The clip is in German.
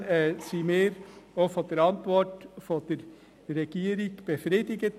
Insofern sind wir auch von der Antwort der Regierung befriedigt.